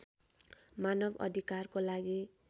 मानव अधिकारको लागि